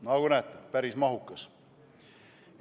Nagu näete – päris mahukas eelnõu.